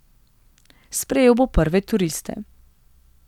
Sprejel bo prve turiste.